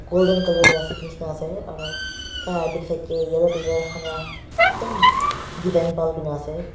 golden colour lah seat neshina ase aro taila backside dae yellow colour khan vra ekdum bhal dena ase.